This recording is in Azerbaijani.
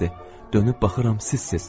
Dönüb baxıram, səs-siz.